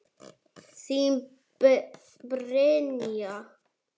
Þín, Brynja.